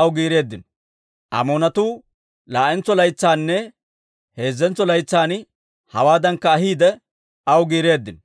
aw giireeddino. Amoonatuu laa'entso laytsaynne heezzentso laytsan hewaaddankka ahiidde, aw giireeddino.